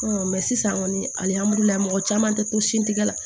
sisan kɔni alihamdulila mɔgɔ caman te to sin tigɛ la